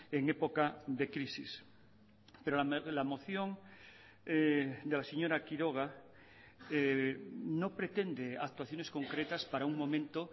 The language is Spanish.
en época de crisis pero la moción de la señora quiroga no pretende actuaciones concretas para un momento